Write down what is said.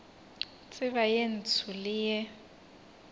tseba ye ntsho le ye